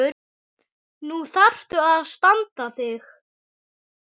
Nú þarftu að standa þig.